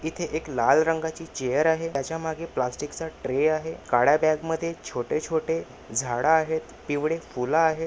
इथे एक लाल रंगाची चेअर आहे त्याच्या मागे प्लास्टिक चा ट्रे आहे काळ्या बॅग मध्ये छोटे-छोटे झाडं आहेत पिवळे फूल आहेत.